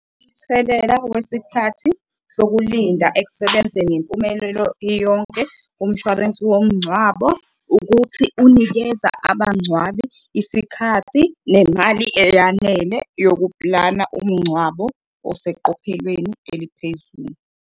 Umthelela wesikhathi sokulinda ekusebenzeni ngempumelelo iyonke kumshwarensi womngcwabo ukuthi unikeza abangcwabi isikhathi, nemali eyanele yokuplana umngcwabo oseqophelelweni eliphezulu.